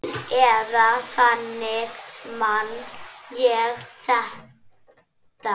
Eða þannig man ég þetta.